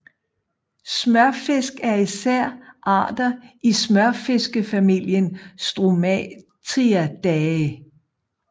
Smørfisk er især arter i smørfiskefamilien Stromateidae